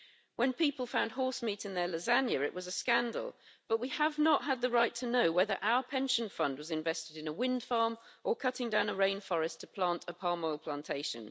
When people found horsemeat in their lasagne, it was a scandal, but we have not had the right to know whether our pension fund was invested in a windfarm or cutting down a rainforest to plant a palm oil plantation.